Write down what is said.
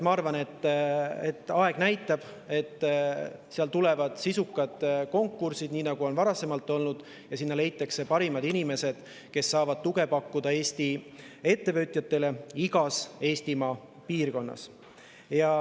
Ma arvan, et aeg näitab, et tulevad sisukad konkursid, nii nagu on varasemalt olnud, ja sinna leitakse parimad inimesed, kes saavad pakkuda Eesti ettevõtjatele tuge igas Eestimaa piirkonnas.